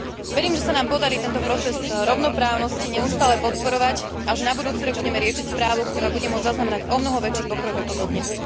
Verím, že sa nám podarí tento proces rovnoprávnosti neustále podporovať a že na budúci rok budeme riešiť správu, ktorá bude môcť zaznamenať omnoho väčší pokrok ako dodnes.